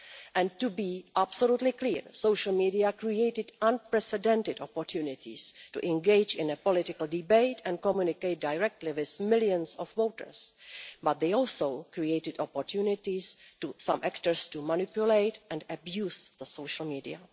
And to be absolutely clear, social media created unprecedented opportunities to engage in a political debate and communicate directly with millions of voters, but they also created opportunities for some actors to manipulate and abuse social media.